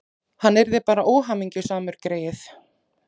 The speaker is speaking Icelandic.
Hann yrði bara óhamingjusamur, greyið.